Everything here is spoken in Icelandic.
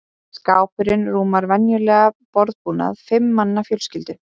Skápurinn rúmar venjulegan borðbúnað fimm manna fjölskyldu.